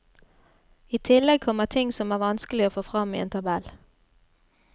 I tillegg kommer ting som er vanskelig å få fram i en tabell.